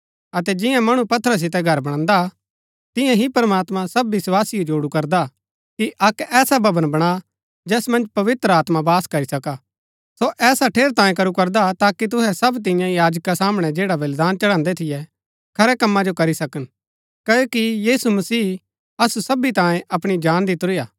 अतै जियां मणु पत्थरा सितै घर बणांदा तियां ही प्रमात्मां सब विस्वासियों जोडु करदा कि अक्क ऐसा भवन बणा जैस मन्ज पवित्र आत्मा वास करी सकी सो ऐसा ठेरैतांये करू करदा हा ताकि तुहै सब तियां याजका सामणै जैडा बलिदान चढांदै थियै खरै कम्मा जो करी सकन क्ओकि यीशु मसीह असु सबी तांये अपणी जान दितुरी हा